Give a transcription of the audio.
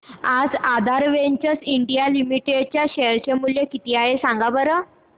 आज Aadhaar Ventures India Limited चे share चे मूल्य किती आहे सांगा बरं